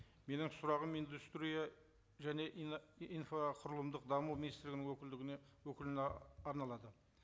менің сұрағым индустрия және инфрақұрылымдық даму министрлігінің өкілдігіне өкіліне арналады